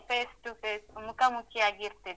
Face to face , ಮುಖಾಮುಖಿಯಾಗಿ ಇರ್ತಿತ್.